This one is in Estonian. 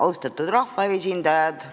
Austatud rahvaesindajad!